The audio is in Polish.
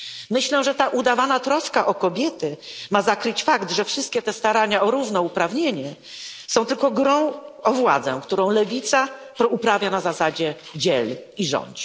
Myślę, że ta udawana troska o kobiety ma zakryć fakt, że wszystkie te starania o równouprawnienie są tylko grą o władzę, którą lewica uprawia na zasadzie dziel i rządź.